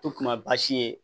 To kuma baasi ye